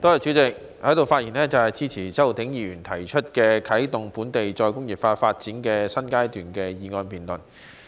主席，我在此發言支持周浩鼎議員提出"啟動本港再工業化發展的新階段"的議案辯論。